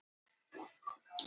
Þýska bakaríið var elst.